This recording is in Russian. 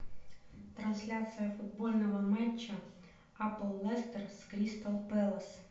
трансляция футбольного матча апл лестер с кристал пэлас